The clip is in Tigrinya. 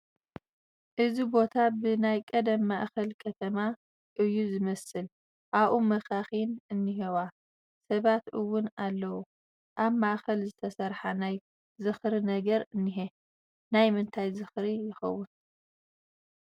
እዚ ቦታ ብ ናይ ቐደም ማእኸል ከተማ እዩ ዝመስል ኣብኡ መኻኺን እንሄዋ ፡ ሰባት እውን ኣለዉ ኣብ ማእኸል ዝተሰርሓ ናይ ዝኽሪ ነገር እንሄ ፡ ናይ ምንታይ ዠኽሪ ይከውን ?